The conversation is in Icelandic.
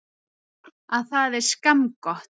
Að það er skammgott.